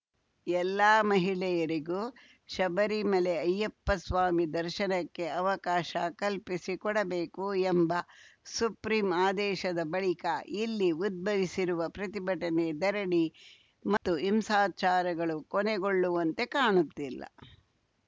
ಎಲ್ಲ ಮಹಿಳೆಯರಿಗೂ ಶಬರಿಮಲೆ ಅಯ್ಯಪ್ಪ ಸ್ವಾಮಿ ದರ್ಶನಕ್ಕೆ ಅವಕಾಶ ಕಲ್ಪಿಸಿಕೊಡಬೇಕು ಎಂಬ ಸುಪ್ರೀಂ ಆದೇಶದ ಬಳಿಕ ಇಲ್ಲಿ ಉದ್ಭವಿಸಿರುವ ಪ್ರತಿಭಟನೆ ಧರಣಿ ಮತ್ತು ಹಿಂಸಾಚಾರಗಳು ಕೊನೆಗೊಳ್ಳುವಂತೆ ಕಾಣುತ್ತಿಲ್ಲ